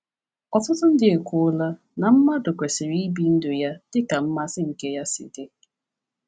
Ọtụtụ ndị ekwuola na mmadụ kwesịrị ibi ndụ ya dị ka mmasị nke ya si dị.